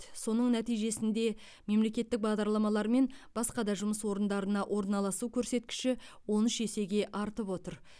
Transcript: соның нәтижесінде мемлекеттік бағдарламалар мен басқа да жұмыс орындарына орналасу көрсеткіші он үш есеге артып отыр